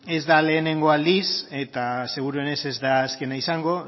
ez da lehengo aldiz eta seguruenik ez da azkena izango